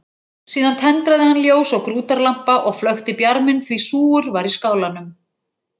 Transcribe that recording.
Síðan tendraði hann ljós á grútarlampa og flökti bjarminn því súgur var í skálanum.